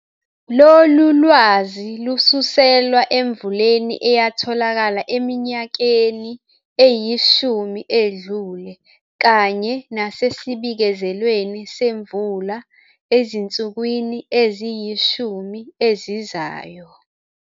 Lolu lwazi lususelwa emvuleni eyatholakala eminyakeni eyishumi edlule kanye nasesibikezelweni semvula ezinsukwini eziyishumi ezizayo.